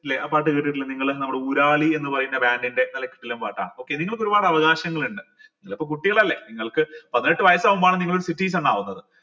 ല്ലേ ആ പാട്ട് കേട്ടിട്ടില്ലേ നിങ്ങൾ നമ്മടെ ഊരാളി എന്ന് പറയുന്ന band ൻ്റെ നല്ല കിടിലൻ പാട്ടാണ് okay നിങ്ങൾക്ക് ഒരുപാട് അവകാശങ്ങൾ ഉണ്ട് നിങ്ങളിപ്പോ കുട്ടികളല്ലേ നിങ്ങൾക്ക് പതിനെട്ട് വയസ് ആവുമ്പാണ് നിങ്ങൾ ഒരു citizen ആവുന്നത്